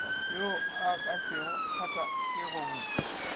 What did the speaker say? wo o ka se gatakego